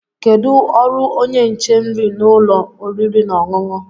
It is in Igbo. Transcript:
Kedu ọrụ onye nche nri n'ụlọ oriri na ọṅụṅụ?